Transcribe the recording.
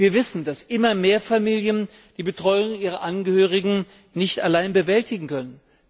Wir wissen, dass immer mehr Familien die Betreuung ihrer Angehörigen nicht allein bewältigen können.